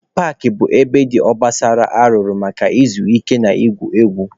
Paakị bụ ebe dị obosara arụrụ maka izu ike na igwu egwu.